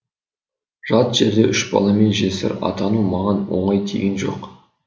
жат жерде үш баламен жесір атану маған оңай тиген жоқ